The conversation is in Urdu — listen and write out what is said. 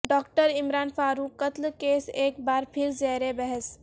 ڈاکٹر عمران فاروق قتل کیس ایک بار پھر زیر بحث